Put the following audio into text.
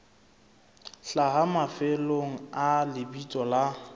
hlaha mafelong a lebitso la